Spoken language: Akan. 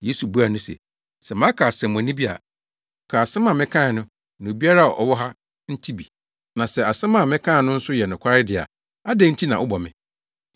Yesu buaa no se, “Sɛ maka asɛmmɔne bi a, ka asɛm a mekae no na obiara a ɔwɔ ha nte bi. Na sɛ asɛm a mekaa no nso yɛ nokware de a, adɛn nti na wobɔ me?”